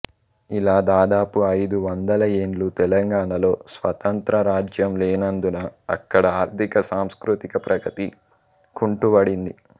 ఇలా దాదాపు ఐదు వందల యేండ్లు తెలంగాణలో స్వతంత్ర రాజ్యం లేనందున అక్కడ ఆర్థిక సాంస్కృతిక ప్రగతి కుంటువడింది